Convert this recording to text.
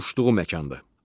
uçduğu məkandır.